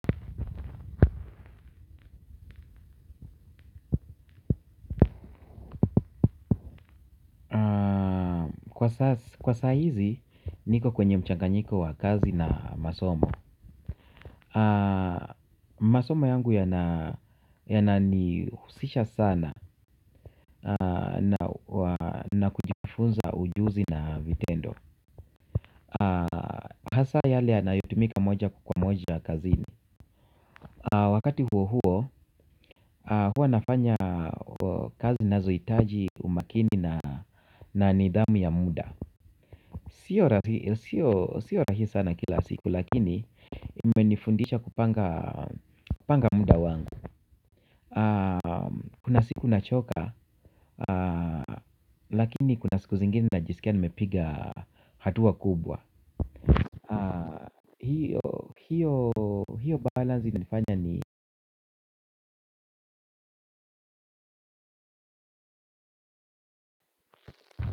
Kwa saa hizi, niko kwenye mchanganyiko wa kazi na masomo. Masomo yangu yanani husisha sana na kujifunza ujuzi na vitendo. Hasa yale yanayotumika moja kwa moja kazini. Wakati huo huo, huwa nafanya kazi zinazohitaji umakini na nidhamu ya muda. Sio rahisi sana kila siku lakini imenifundisha kupanga muda wangu. Kuna siku nachoka lakini kuna siku zingine na jisikia nimepiga hatua kubwa. Hiyo hiyo hiyo balansi imefanya ni.